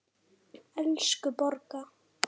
Elsku Borga!